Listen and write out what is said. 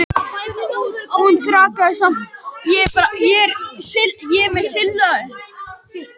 Hún þraukaði samt en var fegin þegar henni lauk.